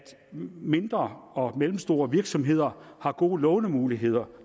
mindre og mellemstore virksomheder har gode lånemuligheder